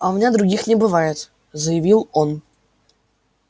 а у меня других не бывает заявил он